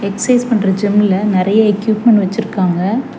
Exercise பண்ற ஜிம்ல நெறைய எக்யூப்மெண்ட் வெச்சிருக்காங்க.